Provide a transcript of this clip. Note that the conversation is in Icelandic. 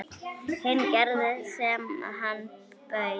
Hinn gerði sem hann bauð.